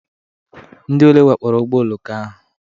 Ndị ole wakporo ụgbọ oloko ahụ?